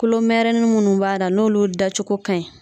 Kulomɛrɛnin minnu b'a la n'olu da cogo ka ɲi